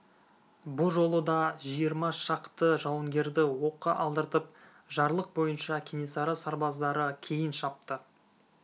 бұ жолы да жиырма шақты жауынгерді оққа алдыртып жарлық бойынша кенесары сарбаздары кейін шапты